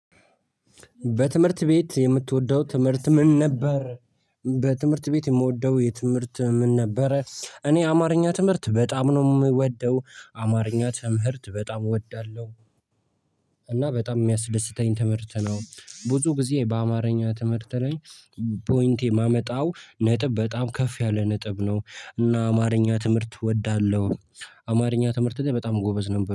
በትምህርት ቤት የምትወደው ትምህርት ምን ነበር? በትምህርት ቤት የምወደው የትምህርት ምን ነበረ እኔ አማርኛ ትምህርት በጣም ነው የምወደው አማርኛ ትምህርት በጣም ወዳለሁ እና በጣም የሚያስደስተኝ ትምህርት ነው ብዙ ጊዜ በአማርኛ ትምህርት ላይ ፖይንቴ ማመጣው ነጥብ በጣም ከፍ ያለ ነጥብ ነው እና አማርኛ ትምህርት እወዳለሁ አማርኛ ትምህርት ላይ በጣም ጎበዝ ነበር